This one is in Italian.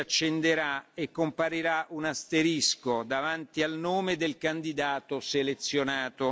blu si accenderà e comparirà un asterisco davanti al nome del candidato selezionato.